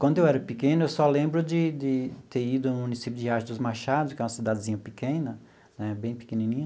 Quando eu era pequeno, eu só lembro de de ter ido ao município Riacho dos Machados, que é uma cidadezinha pequena né, bem pequenininha.